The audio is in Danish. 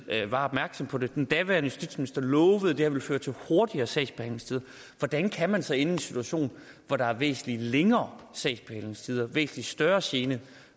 var opmærksom på det og den daværende justitsminister lovede at det ville føre til hurtigere sagsbehandlingstider hvordan kan man så ende i en situation hvor der er væsentlig længere sagsbehandlingstider og væsentlig større gene